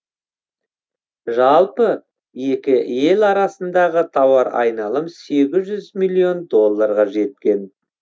жалпы екі ел арасындағы тауар айналым сегіз жүз миллион долларға жеткен